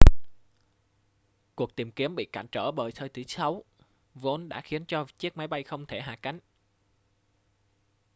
cuộc tìm kiếm bị cản trở bởi thời tiết xấu vốn đã khiến cho chiếc máy bay không thể hạ cánh